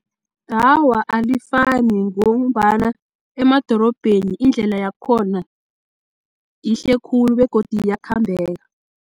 Awa, alifani ngombana emadorobheni indlela yakhona yihle khulu begodu iyakhambeka.